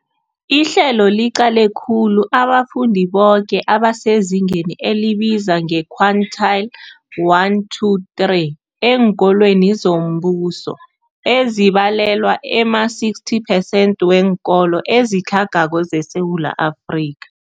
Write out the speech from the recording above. Ihlelo liqale khulu abafundi boke abasezingeni elibizwa nge-quintile 1-3 eenkolweni zombuso, ezibalelwa ema-60 percent weenkolo ezitlhagako zeSewula Afrika.